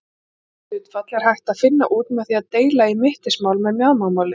Þetta hlutfall er hægt að finna út með því að deila í mittismál með mjaðmamáli.